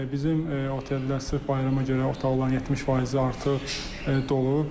Bizim oteldə sırf bayrama görə otaqların 70 faizi artıq dolub.